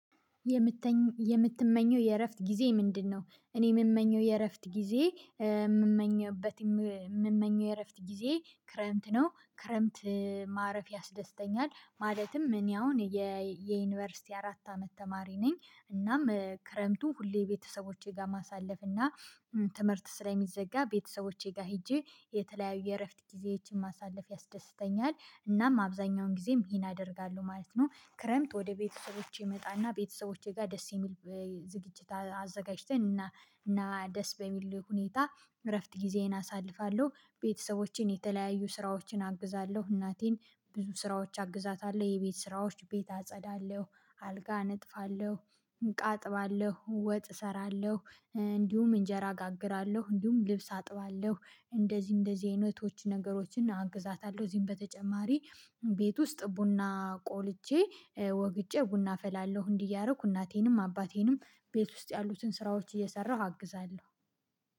የምትመኘው የእረፍት ጊዜ ምንድነው? እኔ የምመኘው የእረፍት ጊዜ የምመኘበት የምመኘው የእረፍት ጊዜ ክረምት ነው ክረምት ማረፍ ያስደስተኛል ማለትም እኔ አሁን የዩኒቨርሲቲ አራት አመት ተማሪ ነኝ እናም ክረምቱን ሁሌ ቤተሰቦቼ ጋር ማሳለፍ እና ትምህርት ስለሚዘጋ ቤተሰቦቼ ጋር ሄጄ የተለያዩ የእረፍት ጊዜያችን ማሳለፍ ያስደስተኛል እናም አብዛኛውን ጊዜም ይሄን አደርጋለሁ ማለት ነው ክረምት ወደ ቤተሰቦቼ እመጣና ቤተሰቦቼ ጋር ደስ የሚል ዝግጅት አዘጋጅተን እና እና ደስ በሚል ሁኔታ እረፍት ጊዜዬን አሳልፋለሁ። ቤተሰቦቼን የተለያዩ ስራዎችን አግዛለሁ፤ እናቴን ብዙ ስራዎች አግዛታለሁ፤ የቤት ስራዎች ቤት አጸዳለሁ፣ አልጋ እነጥፋለሁ እቃ አጥባለሁ፣ ወጥ እሰራለሁ፣ እንዲሁም እንጀራ አጋግራለሁ እንዲሁም ልብስ አጥባለሁ እንደዚህ እንደዚህ አይነቶች ነገሮችን አግዛታለሁ ከዚህም በተጨማሪ ቤት ውስጥ ቡና ቆልጬ ወግጬ ቡና አፈላለሁ እንዲህ እያደረኩ እናቴንም አባቴንም ቤት ውስጥ ያሉትን ስራዎች እየሰራሁ አግዛለሁ።